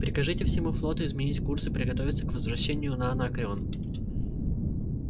прикажите всему флоту изменить курс и приготовиться к возвращению на анакреон